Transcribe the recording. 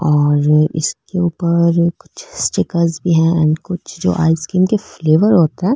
और इसके ऊपर कुछ स्टिकर भी है ऐंड कुछ जो आइसक्रीम के फेलेवर होते है।